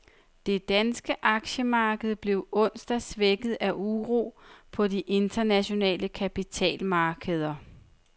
Det danske aktiemarked blev onsdag svækket af uro på de internationale kapitalmarkeder.